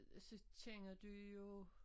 Så kender du jo